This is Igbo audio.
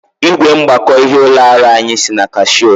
Ị́gwè mgbakọ ịhe ụlọ ọrụ anyị si na Kashio.